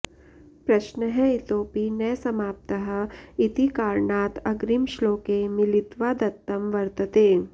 प्रश्नः इतोपि न समाप्तः इति कारणात् अग्रिमश्लोके मिलित्वा दत्तं वर्तते